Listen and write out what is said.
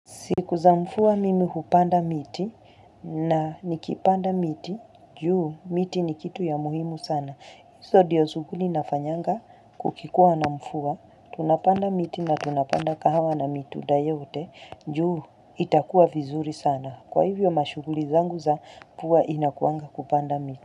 Siku za mfuwa mimi hupanda miti na nikipanda miti, juu miti ni kitu ya muhimu sana. Iso dio shughuli nafanyanga kukikua na mfua, tunapanda miti na tunapanda kahawa na mitunda yote, juu itakuwa vizuri sana. Kwa hivyo mashughuli zangu za huwa inakuanga kupanda miti.